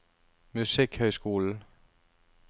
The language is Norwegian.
musikkhøyskolen